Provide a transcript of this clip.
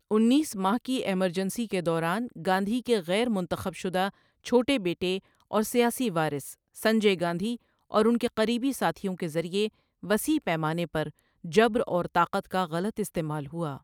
انیس ماہ کی ایمرجنسی کے دوران، گاندھی کے غیر منتخب شدہ چھوٹے بیٹے اور سیاسی وارث سنجے گاندھی اور ان کے قریبی ساتھیوں کے ذریعے وسیع پیمانے پر جبر اور طاقت کا غلط استعمال ہوا۔